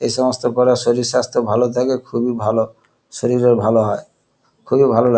এসমস্ত করা শরীর স্বাস্থা ভালো থাকে খুবই ভালো শরীরের ভালো হয় খুবই ভালো লা --